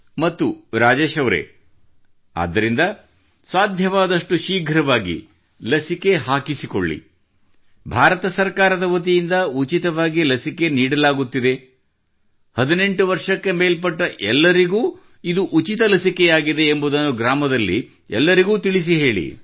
ಮತ್ತು ರಾಜೇಶ್ ಅವರೇ ಆದ್ದರಿಂದ ಸಾದ್ಯವಾದಷ್ಟು ಶೀಘ್ರವಾಗಿ ಲಸಿಕೆ ಹಾಕಿಸಿಕೊಳ್ಳಿ ಮತ್ತು ಭಾರತ ಸರ್ಕಾರದ ವತಿಯಿಂದ ಉಚಿತವಾಗಿ ಲಸಿಕೆ ನೀಡಲಾಗುತ್ತಿದೆ ಮತ್ತು 18 ವರ್ಷಕ್ಕೆ ಮೇಲ್ಪಟ್ಟ ಎಲ್ಲರಿಗೂ ಇದು ಉಚಿತ ಲಸಿಕೆಯಾಗಿದೆ ಎಂಬುದನ್ನು ಗ್ರಾಮದಲ್ಲಿ ಎಲ್ಲರಿಗೂ ತಿಳಿಸಿ ಹೇಳಿ